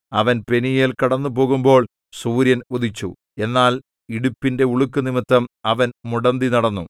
അവൻ പെനീയേൽ കടന്നുപോകുമ്പോൾ സൂര്യൻ ഉദിച്ചു എന്നാൽ ഇടുപ്പിന്റെ ഉളുക്കുനിമിത്തം അവൻ മുടന്തിനടന്നു